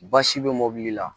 Basi bɛ mobili la